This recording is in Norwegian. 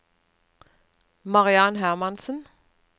Mariann Hermansen